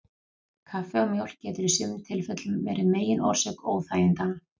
Kaffi og mjólk getur í sumum tilfellum verið megin orsök óþægindanna.